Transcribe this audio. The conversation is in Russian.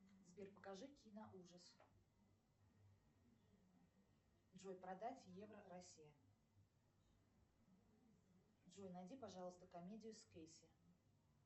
сбер покажи киноужас джой продать евро россия джой найди пожалуйста комедию с кейси